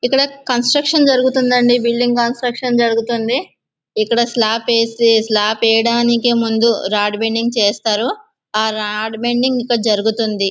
ఇక్కడ ఆ కన్స్ట్రక్షన్ జరుగుతూ ఉందండి ఈ బిల్డింగు కన్స్ట్రక్షన్ జరుగుతుంది ఇక్కడ స్లాబ్ ఏసీ స్లాబ్ వేయడానికి ముందు రాడ్ బెండింగ్ చేస్తారు ఆ రాడ్ బెండింగ్ ఇంకా జరుగుతుంది.